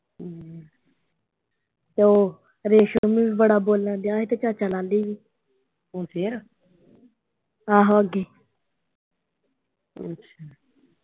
ਅੱਛਾ।